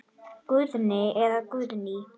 Guðni eða Guðný.